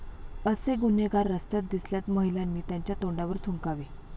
असे गुन्हेगार रस्त्यात दिसल्यास महिलांनी त्यांच्या तोंडावर थुंकावे.